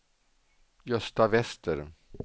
Gösta Wester